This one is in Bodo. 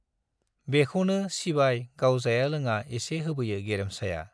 बेखौनो सिबाय गाव जाया लोङा एसे होबोयो गेरेमसाया।